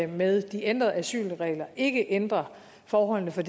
med de ændrede asylregler ikke ændrer forholdene for